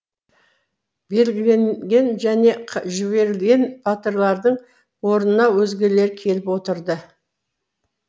белгіленген және жіберліген батырлардың орнына өзгелері келіп отырды